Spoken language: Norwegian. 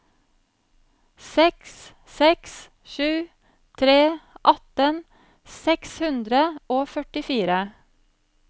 seks seks sju tre atten seks hundre og førtifire